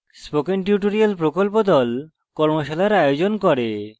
spoken tutorial প্রকল্প the কর্মশালার আয়োজন করে